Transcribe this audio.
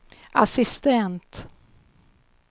assistent